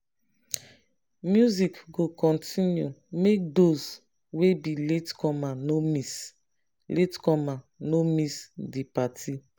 music go continue make dose wey be latecomer no miss latecomer no miss di party